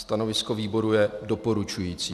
Stanovisko výboru je doporučující.